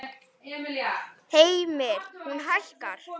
Heimir: Hún hækkar?